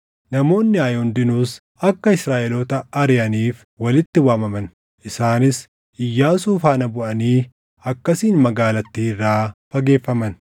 Namoonni Aayi hundinuus akka Israaʼeloota ariʼaniif walitti waamaman; isaanis Iyyaasuu faana buʼanii akkasiin magaalattii irraa fageeffaman.